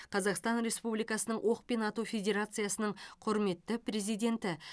қазақстан республикасының оқпен ату федерациясының құрметті президенті